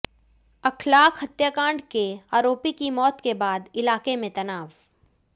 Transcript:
अखलाक हत्याकांड के आरोपी की मौत के बाद इलाके में तनाव